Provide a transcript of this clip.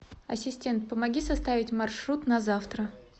ассистент помоги составить маршрут на завтра